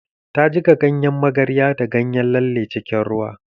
Ta jiƙa ganyen magarya da ganyen lalle cikin ruwa